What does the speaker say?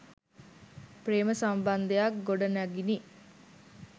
ප්‍රේම සම්බන්ධයක්‌ ගොඩනැගිනි.